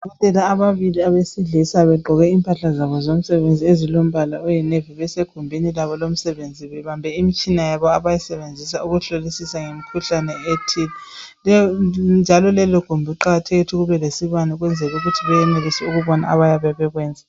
Odokotela ababili besilisa begqoke impahla zabo zomsebenzi ezilombala oyi navy besegimbuni labo lomsebenzi bebambe imtshina yabo abayisebenzisa ukuhlolisisa ngemikhuhlane ethile. Njalo lelogumbi kuqakathekile ukuthi kube lesibane ukwenzela ukuthi beyenelise ukobona abaye bekwenza.